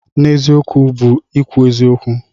N'eziokwu bụ ikwu eziokwu.